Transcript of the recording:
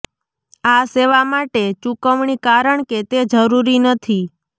આ સેવા માટે ચૂકવણી કારણ કે તે જરૂરી નથી